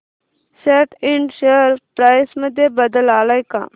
सॅट इंड share price मध्ये बदल आलाय का